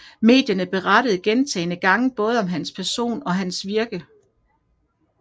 Medierne berettede gentagende gange både om hans person og hans virke